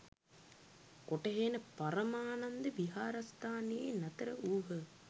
කොටහේනේ පරමානන්ද විහාරස්ථානයෙහි නතර වූහ.